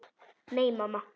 Nei, mamma.